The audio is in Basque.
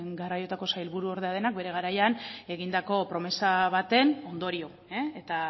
garai honetako sailburu ordea denak bere garaian egindako promesa baten ondorio eta